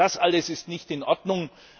Das alles ist nicht in Ordnung.